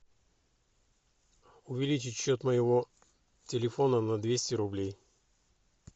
увеличить счет моего телефона на двести рублей